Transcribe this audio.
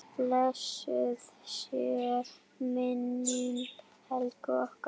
Blessuð sé minning Helgu okkar.